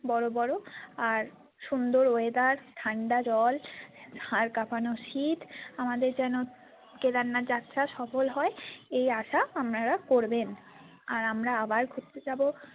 বড়ো বড়ো আর সুন্দর weather ঠান্ডা জল হাড় কাঁপানো শীত আমাদের যেন কেদারনাথ যাত্রা সফল হয় এই আশা আপনারা করবেন আর আমরা আবার ঘুরতে যাবো।